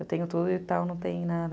Eu tenho tudo e tal, não tenho nada.